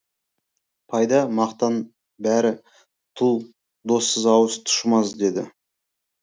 пайда мақтан бәрі тұл доссыз ауыз тұшымас деді